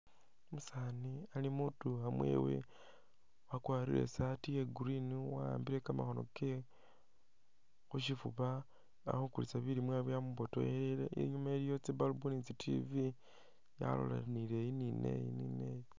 Umusaani ali mwidukha mwewe wakwalire isaati ya green wawambile kamakhoono kewe khushifuba ali khukulisa bilimwa byamubotokhelele inyuma iliyo tsi bulb ni tsi tv tsalolanile eyi ni neyi ni neyi